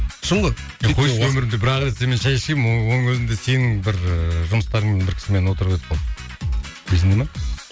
шын ғой ей қой өмірімде бірақ рет сенімен шәй ішкенмін оның өзінде сенің бір і жұмыстарыңмен бір кісімен отырып едік қой есіңде ме